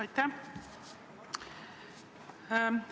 Aitäh!